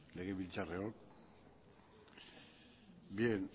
legebiltzarreok bien